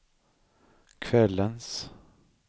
kvällens